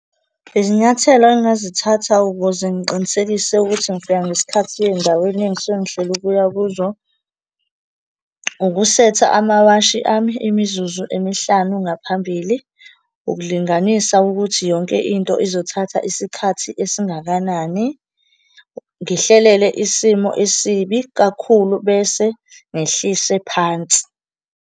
Izinyathelo engingazithatha ukuze ngiqinisekise ukuthi ngifika ngesikhathi ey'ndaweni engisuke ngihlele ukuya kuzo, ukusetha amawashi ami imizuzu emihlanu ngaphambili, ukulinganisa ukuthi yonke into izothatha isikhathi esingakanani, ngihlelele isimo esibi kakhulu bese ngehlise phansi.